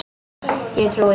Ég trúi.